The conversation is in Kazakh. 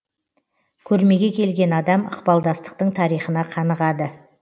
көрмеге келген адам ықпалдастықтың тарихына қанығады